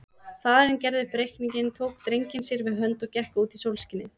Faðirinn gerði upp reikninginn, tók drenginn sér við hönd og gekk út í sólskinið.